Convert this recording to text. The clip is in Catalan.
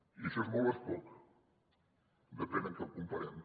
i això és molt o és poc depèn amb què ho comparem